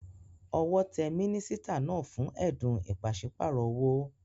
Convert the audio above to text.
Owó te mínísítà náà fún édùn ìpasípayo owó